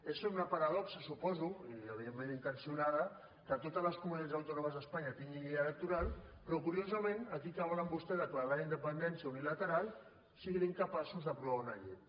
és una paradoxa suposo i evidentment intencionada que totes les comunitats autònomes d’espanya tinguin llei electoral però curiosament aquí que volen vostès declarar la independència unilateral siguin incapaços d’aprovar una llei